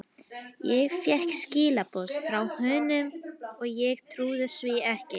Ég fékk skilaboð frá honum og ég trúði því ekki.